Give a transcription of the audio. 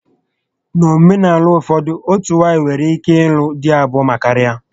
N'omenaala ụfọdụ, otú nwaanyị nwere ike ịlụ dị abụo ma karịa